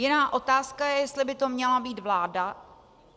Jiná otázka je, jestli by to měla být vláda.